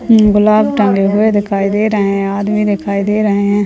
गुलाब टांगे हुए दिखाई दे रहें हैं अदमी दिखाई दे रहें हैं।